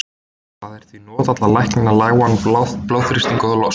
það er því notað til að lækna lágan blóðþrýsting og lost